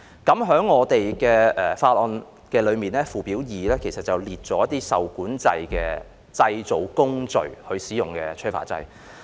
《條例草案》附表2載列了受規管製造工序所使用的催化劑。